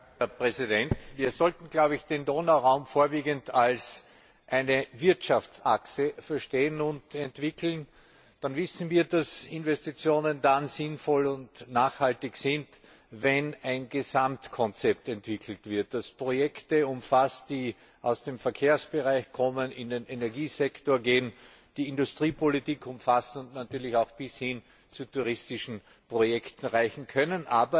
Herr Präsident! Wir sollten, glaube ich, den Donauraum vorwiegend als eine Wirtschaftsachse verstehen und entwickeln, dann wissen wir, dass Investitionen dann sinnvoll und nachhaltig sind, wenn ein Gesamtkonzept entwickelt wird, das Projekte umfasst, die aus dem Verkehrsbereich kommen, in den Energiesektor gehen, die Industriepolitik umfassen und natürlich auch bis hin zu touristischen Projekten reichen können.